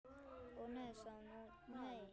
Ó, nei sagði hún, nei.